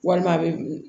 Walima a bɛ